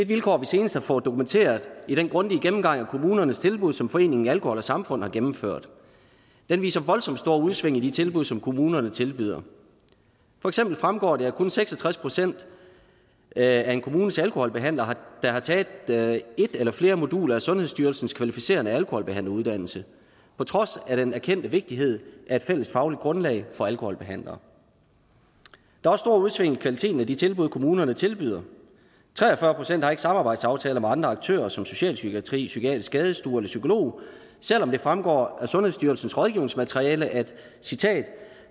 vilkår vi senest har fået dokumenteret i den grundige gennemgang af kommunernes tilbud som foreningen alkohol samfund har gennemført den viser voldsomt store udsving i de tilbud som kommunerne tilbyder for eksempel fremgår det at kun seks og tres procent af en kommunes alkoholbehandlere har taget et eller flere moduler af sundhedsstyrelsens kvalificerende alkoholbehandleruddannelse på trods af den erkendte vigtighed af et fælles fagligt grundlag for alkoholbehandlere der er også i kvaliteten af de tilbud kommunerne tilbyder tre og fyrre procent har ikke samarbejdsaftaler med andre aktører som socialpsykiatri psykiatrisk skadestue eller psykolog selv om det fremgår af sundhedsstyrelsens rådgivningsmateriale at